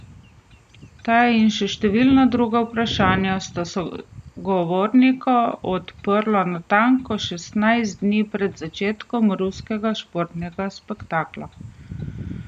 Ta in še številna druga vprašanja sta sogovornika odprla natanko šestnajst dni pred začetkom ruskega športnega spektakla.